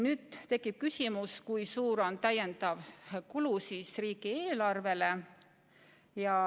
Nüüd tekib küsimus, kui suur oleks täiendav kulu riigieelarvele.